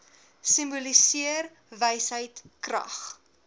simboliseer wysheid krag